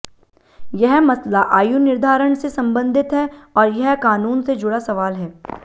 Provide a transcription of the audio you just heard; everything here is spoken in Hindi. यह मसला आयु निर्धारण से संबंधित है और यह कानून से जुड़ा सवाल है